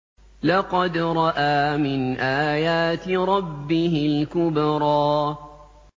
لَقَدْ رَأَىٰ مِنْ آيَاتِ رَبِّهِ الْكُبْرَىٰ